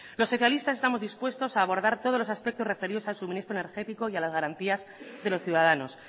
los socialistas estamos dispuestos a abordar todos los aspectos referidos al suministro energético y a las garantías de los ciudadanos